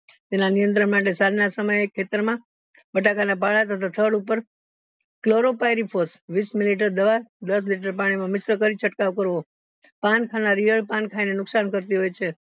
તેના નિયંત્રણ માટે સાંજ ના સમયે ખેતર માં બટાકા ના પહ તથા થાળ ઉપર વિશ millileter દવા દસ liter પાણી માં mix કરી છ્ડ્કાવ કરવો પણ ખાનારી ઈયળ પણ ખાયને નુકસાન કરતી હોય છે